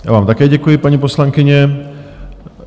Já vám také děkuji, paní poslankyně.